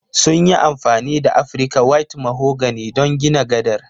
Sun yi amfani da Afrika white mahogany don gina gadar